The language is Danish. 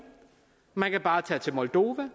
man kan bare tage til moldova